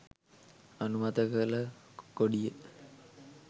අනුමත කල කොඩිය